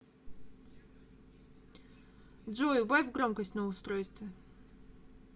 джой убавь громкость на устройстве